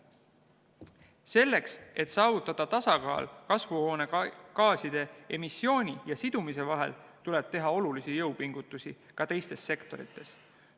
Selleks, et saavutada tasakaal kasvuhoonegaaside emissiooni ja sidumise vahel, tuleb teha olulisi jõupingutusi ka teistes sektorites.